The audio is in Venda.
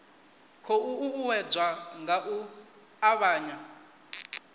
khou uuwedzwa nga u avhanya